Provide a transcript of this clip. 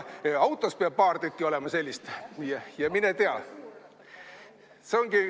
Autos peab ka paar tükki olema – mine tea.